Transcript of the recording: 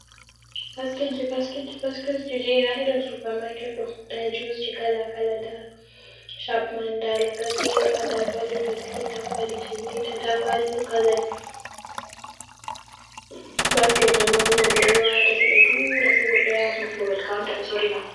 Basket ji, basket ji, basket ji je inna irin supermarket ɗo nda kwali ji kala kala, nda Chapman, nda lakasera, nda kwali biskit, nda kwali chibita, nda kwali lucoset basket mai ma blu ɓe ɗon wata sai ɓe tura sigodo ya babel counter be sorina ma.